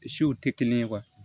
Siw tɛ kelen ye